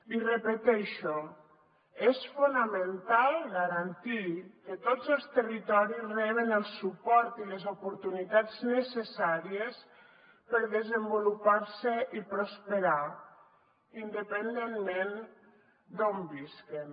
i ho repeteixo és fonamental garantir que tots els territoris reben el suport i les oportunitats necessàries per desenvolupar se i prosperar independentment d’on visquin